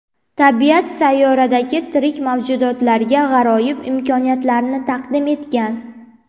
Tabiat sayyoradagi tirik mavjudotlarga g‘aroyib imkoniyatlarni taqdim etgan.